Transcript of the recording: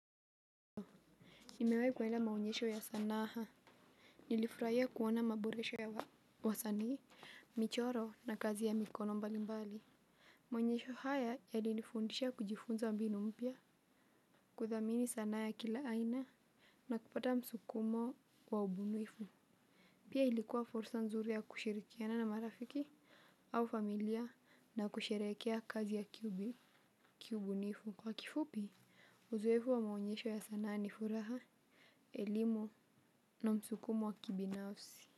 Nimewahi kuenda maonyesho ya sanaha nilifurahia kuona maboresho ya wa wasanii michoro na kazi ya mikono mbalimbali maonyesho haya yalinifundisha kujifunza mbinu mpya kuthamini sanaa ya kila aina na kupata msukumo wa ubunifu pia ilikuwa fursa nzuri ya kushirikiana na marafiki au familia na kusherehekea kazi ya kiubi kiubunifu kwa kifupi, uzoefu wa maonyesho ya sanaa ni furaha elimu na msukumo wa kibinafsi.